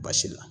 Basi la